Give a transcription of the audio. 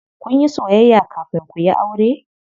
Kunyi soyayya kafin kuyi aure?